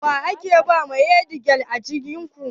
Wa aka bawa matsayi headgirl a ajin ku?